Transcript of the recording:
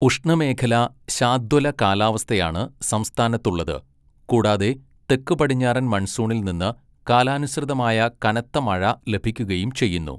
ഉഷ്ണമേഖലാ ശാദ്വല കാലാവസ്ഥയാണ് സംസ്ഥാനത്തുള്ളത്, കൂടാതെ തെക്ക് പടിഞ്ഞാറൻ മൺസൂണിൽ നിന്ന് കാലാനുസൃതമായ കനത്ത മഴ ലഭിക്കുകയും ചെയ്യുന്നു.